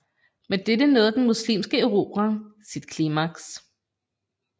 Med dette nåede den muslimske erobring sit klimaks